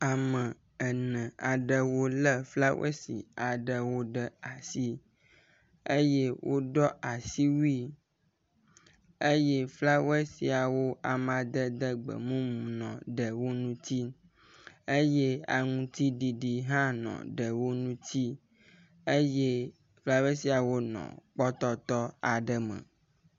ame ene aɖewo le flawɛsi aɖewo ɖe asi eye wodɔ́ asiwui eye flawɛsiawo amadede gbemumu nɔ ɖewo ŋuti eye aŋutiɖiɖi hã nɔ ɖewo ŋuti eye fkawɛsiawo nɔ kpɔtɔtɔ aɖe me